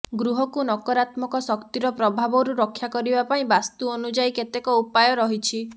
ଗୃହକୁ ନକରାତ୍ମକ ଶକ୍ତିର ପ୍ରଭାବରୁ ରକ୍ଷା କରିବା ପାଇଁ ବାସ୍ତୁ ଅନୁଯାୟୀ କେତେକ ଉପାୟ ରହିଛି